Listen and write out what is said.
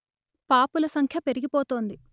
పాపుల సంఖ్య పెరిగిపోతోంది